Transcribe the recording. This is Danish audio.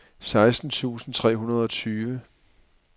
seksten tusind tre hundrede og tyve